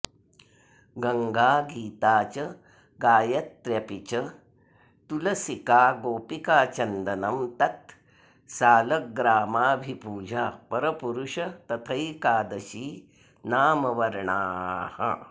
गङ्गा गीता च गायत्र्यपि च तुलसिका गोपिकाचन्दनं तत् सालग्रामाभिपूजा परपुरुष तथैकादशी नामवर्णाः